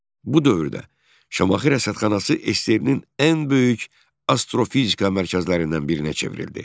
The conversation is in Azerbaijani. Bu dövrdə Şamaxı Rəsədxanası SSRİ-nin ən böyük astrofizika mərkəzlərindən birinə çevrildi.